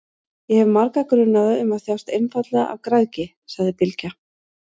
Ég hef marga grunaða um að þjást einfaldlega af græðgi, sagði Bylgja.